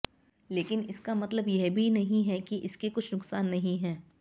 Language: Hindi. लेकिन इसका मतलब यह भी नहीं है कि इसके कुछ नुकसान नहीं है